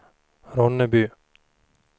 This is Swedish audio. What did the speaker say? Ronneby